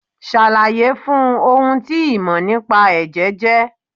Ṣàlàyé fun ohun tí ìmò nípa Ẹ̀jẹ̀ jẹ́.